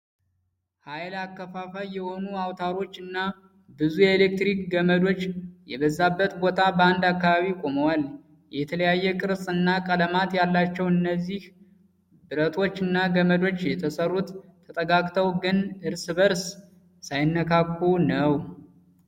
ሃይል አከፋፋይ የሆኑ አውታሮች እና ብዙ የኤሌክትሪክ ገመዶች የበዛበት ቦታ በአንድ አካባቢ ቆመዋል። የተለያየ ቅርጽ እና ቀለማት ያላቸው እነዚህ ብረቶች እና ገመዶች የተሰሩት ተጠጋግተው ግን እርስ በርስ ሳይነካኩ ነው።